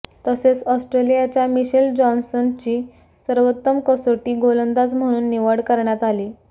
तसेच ऑस्ट्रेलियाच्या मिशेल जॉन्सनची सर्वोत्तम कसोटी गोलंदाज म्हणून निवड करण्यात आली